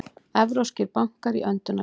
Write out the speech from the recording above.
Evrópskir bankar í öndunarvél